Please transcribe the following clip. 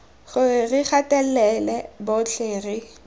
gore re gatelela botlhe re